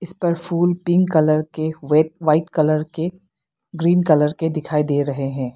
इसपर फूल pink colour के व्हेट व्हाइट कलर के ग्रीन कलर के दिखाई दे रहे हैं।